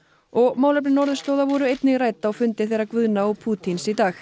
og málefni norðurslóða voru einnig rædd á fundi þeirra Guðna og Pútíns í dag